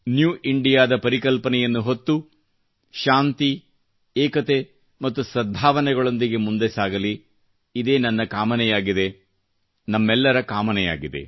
new India ದ ಪರಿಕಲ್ಪನೆಯನ್ನು ಹೊತ್ತು ಶಾಂತಿ ಏಕತೆ ಮತ್ತು ಸದ್ಭಾವನೆಗಳೊಂದಿಗೆ ಮುಂದೆ ಸಾಗಲಿ ಇದೇ ನನ್ನ ಕಾಮನೆಯಾಗಿದೆ ನಮ್ಮೆಲ್ಲರ ಕಾಮನೆಯಾಗಿದೆ